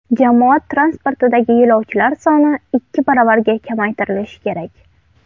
Jamoat transportidagi yo‘lovchilar soni ikki baravarga kamaytirilishi kerak.